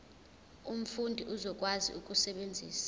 umfundi uzokwazi ukusebenzisa